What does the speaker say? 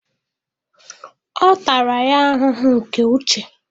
Ọ tara ya ahụhụ nke uche.